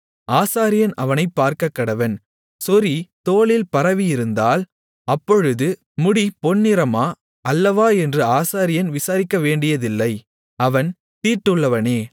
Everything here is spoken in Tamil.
ஆசாரியன் அவனைப் பார்க்கக்கடவன் சொறி தோலில் பரவியிருந்தால் அப்பொழுது முடி பொன்நிறமா அல்லவா என்று ஆசாரியன் விசாரிக்க வேண்டியதில்லை அவன் தீட்டுள்ளவனே